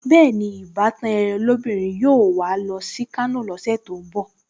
Bẹ́ẹ̀ni, ìbátan ẹ́ lóbìnrin yóò wà á lọ sí Kano lọ́sẹ̀ tó ń bọ̀